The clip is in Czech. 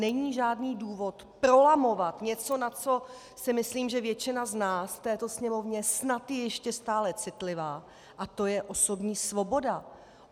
Není žádný důvod prolamovat něco, na co si myslím, že většina z nás v této Sněmovně snad je ještě stále citlivá, a to je osobní svoboda.